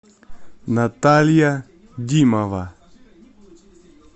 наталья димова